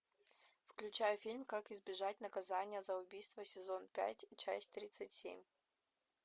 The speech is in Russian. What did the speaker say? включай фильм как избежать наказания за убийство сезон пять часть тридцать семь